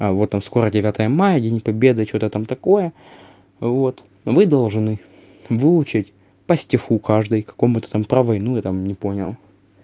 а вот он скоро девятое мая день победы что-то там такое вот вы должны выучить по стиху каждый какому-то там про войну я там не понял